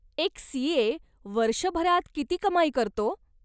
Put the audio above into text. एक सी.ए. वर्षभरात किती कमाई करतो?